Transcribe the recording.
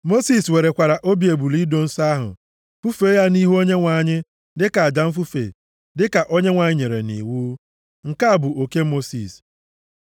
Mosis werekwara obi ebule ido nsọ ahụ, fufee ya nʼihu Onyenwe anyị, dịka aja mfufe, dịka Onyenwe anyị nyere nʼiwu. Nke a bụ oke Mosis.